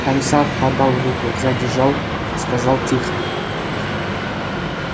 комиссар подал руку задержал сказал тихо